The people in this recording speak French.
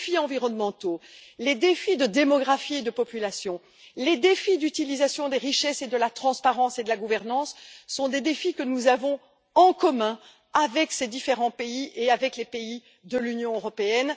Les défis environnementaux, les défis liés à la démographie et à la population, les défis de l'utilisation des richesses, de la transparence et de la gouvernance sont des défis que nous avons en commun avec ces différents pays et avec les pays de l'Union européenne.